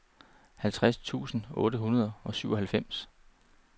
halvtreds tusind otte hundrede og syvoghalvfems